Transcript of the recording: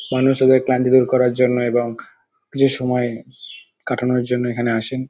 মানুষ তাদের ক্লান্তি দূর করার জন্য এবং কিছু সময় কাটানোর জন্য এখানে আসেন।